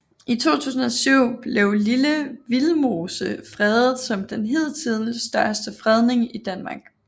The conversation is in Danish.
I 2007 blev Lille Vildmose fredet som den hidtil største fredning i Danmark